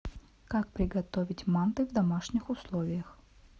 как приготовить манты в домашних условиях